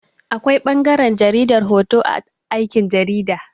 Akwai ɓangaran jaridar hoto a aikin jarida.